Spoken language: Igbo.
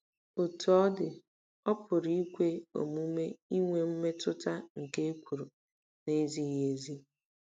Otú ọ dị, ọ̀ pụrụ ikwe omume inwe mmetụta nke ekworo na-ezighị ezi?